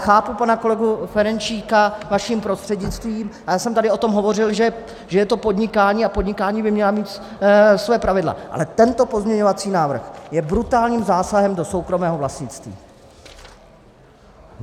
Chápu pana kolegu Ferjenčíka vaším prostřednictvím, ale já jsem tady o tom hovořil, že je to podnikání, a podnikání by mělo mít svoje pravidla, ale tento pozměňovací návrh je brutálním zásahem do soukromého vlastnictví!